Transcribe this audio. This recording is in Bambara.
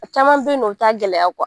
Caman bɛ yen nɔ u t'a gɛlɛya